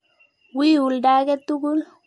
Wii ulda ake tukul.